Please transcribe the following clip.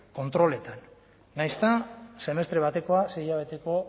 kontroletan nahiz eta semestre batekoa sei hilabeteko